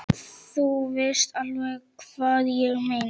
Þú veist alveg hvað ég meina!